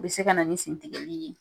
O be se ka na ni sen tigɛli ye.